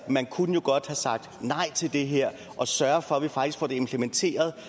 man kunne jo godt have sagt nej til det her og sørget for at vi faktisk fik det implementeret